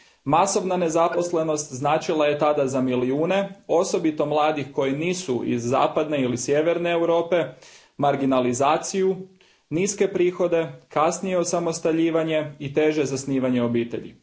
Masovna nezaposlenost značila je tada za milijune, osobito mladih koji nisu iz zapadne ili sjeverne Europe, marginalizaciju, niske prihode, kasnije osamostaljivanje i teže zasnivanje obitelji.